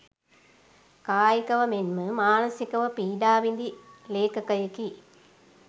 කායිකව මෙන්ම මානසිකව පීඩා විඳි ලේඛකයෙකි